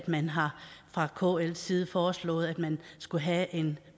man har fra kls side foreslået at man skulle have en